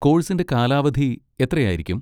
കോഴ്സിന്റെ കാലാവധി എത്രയായിരിക്കും?